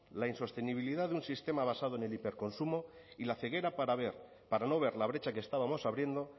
la insostenibilidad de un sistema basado en el hiperconsumo y la ceguera para ver para no ver la brecha que estábamos abriendo